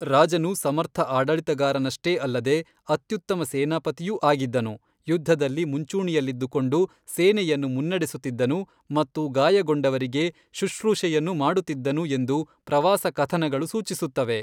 ರಾಜನು ಸಮರ್ಥ ಆಡಳಿತಗಾರನಷ್ಟೇ ಅಲ್ಲದೇ, ಅತ್ಯುತ್ತಮ ಸೇನಾಪತಿಯೂ ಆಗಿದ್ದನು, ಯುದ್ಧದಲ್ಲಿ ಮುಂಚೂಣಿಯಲ್ಲಿದ್ದುಕೊಂಡು ಸೇನೆಯನ್ನು ಮುನ್ನಡೆಸುತ್ತಿದ್ದನು ಮತ್ತು ಗಾಯಗೊಂಡವರಿಗೆ ಶುಶ್ರೂಷೆಯನ್ನೂ ಮಾಡುತ್ತಿದ್ದನು ಎಂದು ಪ್ರವಾಸ ಕಥನಗಳು ಸೂಚಿಸುತ್ತವೆ.